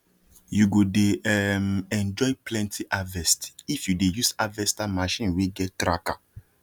you go dey um enjoy plenty harvestif you dey use harvester machine wey get tracker